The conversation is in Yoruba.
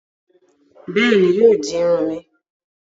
Béèni, yóò di Irun mi.